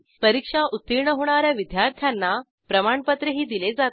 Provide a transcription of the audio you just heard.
परीक्षा उत्तीर्ण होणा या विद्यार्थ्यांना प्रमाणपत्रही दिले जाते